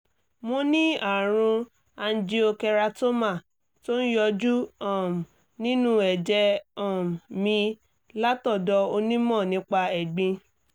mo ní àrùn angiokeratoma tó ń yọjú um nínú ẹ̀jẹ̀ um mi látọ̀dọ̀ onímọ̀ nípa ẹ̀gbin